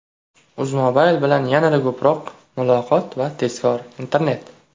UzMobile bilan yanada ko‘proq muloqot va tezkor internet!.